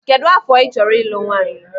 Kedụ afọ ị chọrọ ịlụ nwaanyị?